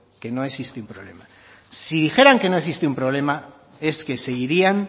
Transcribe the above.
que no existe un problema si dijeran que no existe un problema es que seguirían